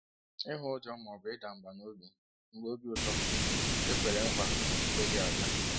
Ihu ụjọ ma ọ bụ ịda mbà n’obi mgbe obi ụtọ a kwere nkwa ekweghị abịa.